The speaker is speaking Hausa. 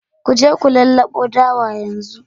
Ku je ku lallabo dawa yanzu